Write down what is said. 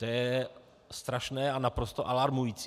To je strašné a naprosto alarmující.